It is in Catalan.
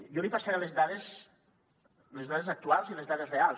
jo li passaré les dades les dades actuals i les dades reals